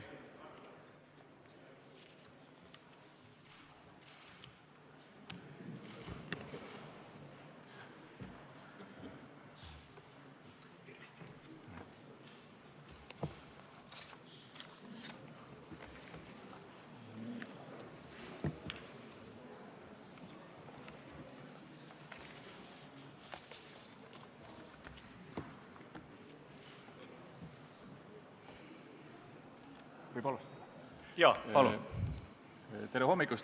Tere hommikust!